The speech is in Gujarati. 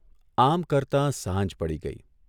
આમ કરતા સાંજ પડી ગઇ.